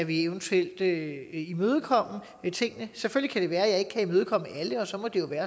vi eventuelt kan imødekomme tingene selvfølgelig kan det være at jeg ikke kan imødekomme alting og så må det være